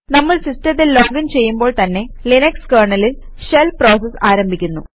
നമ്മൾ സിസ്റ്റത്തിൽ ലോഗിന് ചെയ്യുമ്പോൾ തന്നെ ലിനക്സ് കെര്ണലിൽ ഷെൽ പ്രോസസ് ആരംഭിക്കുന്നു